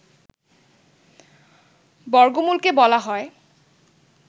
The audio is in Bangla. বর্গমূল কে বলা হয়